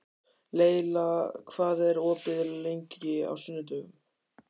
Leyla, hvað er opið lengi á sunnudaginn?